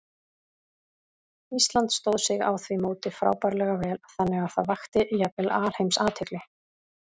Ísland stóð sig á því móti frábærlega vel, þannig að það vakti jafnvel alheimsathygli.